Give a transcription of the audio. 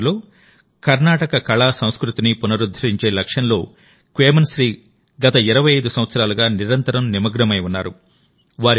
దక్షిణాదిలో కర్ణాటక కళసంస్కృతిని పునరుద్ధరించే లక్ష్యంలో క్వేమశ్రీగత 25 సంవత్సరాలుగా నిరంతరం నిమగ్నమై ఉన్నారు